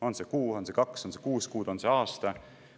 On see kuu, on see kaks, on see kuus kuud, on see aasta?